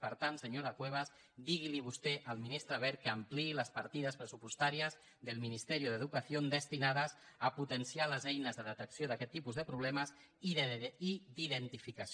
per tant senyora cuevas digui vostè al ministre wert que ampliï les partides pressupostàries del ministerio de educación destinades a potenciar les eines de detecció d’aquest tipus de problemes i d’identificació